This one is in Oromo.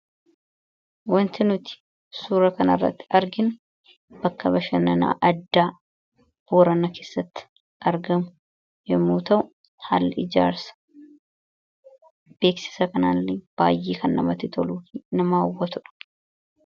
Waanti nuti suura kana irratti arginu, bakka bashannanaa addaa boorana keessatti argamu yemmuu ta'u, haalli ijaarsa beeksisa kanaa illee baayyee kan namatti toluu fi nama hawwatudha.